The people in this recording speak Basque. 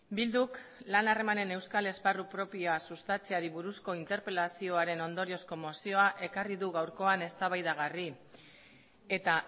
bilduk lan harremanen euskal esparru propioa sustatzeari buruzko interpelazioaren ondoriozko mozioa ekarri du gaurkoan eztabaidagarri eta